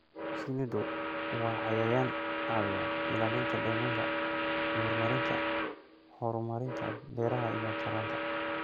Shinnidu waa cayayaan caawiya ilaalinta deegaanka iyo horumarinta horumarinta beeraha iyo taranta.